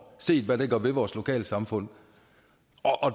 set hvad det gør ved vores lokalsamfund